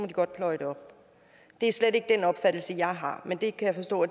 de godt pløje det op det er slet ikke den opfattelse jeg har men det kan jeg forstå